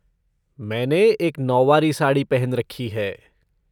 मैंने एक नौवारी साड़ी पहन रखी है।